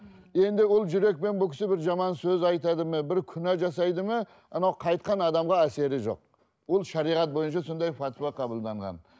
енді ол жүрекпен бұл кісі бір жаман сөз айтады ма бір күнә жасайды ма анау қайтқан адамға әсері жоқ ол шариғат бойынша сондай пәтуә қабылданған